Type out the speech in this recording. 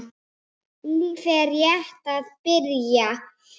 Lífið er rétt að byrja.